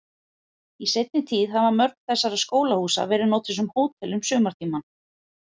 Í seinni tíð hafa mörg þessara skólahúsa verið notuð sem hótel um sumartímann.